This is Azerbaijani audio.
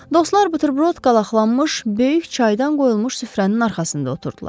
Dostlar buterbrod qalaqlanmış, böyük çaydan qoyulmuş süfrənin arxasında oturdular.